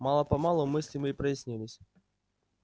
мало-помалу мысли мои прояснились